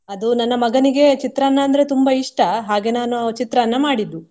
ಅದು ನನ್ನ ಮಗನಿಗೆ ಚಿತ್ರಾನ್ನ ಅಂದ್ರೆ ತುಂಬಾ ಇಷ್ಟ ಹಾಗೆ ನಾನು ಚಿತ್ರಾನ್ನ ಮಾಡಿದ್ದು.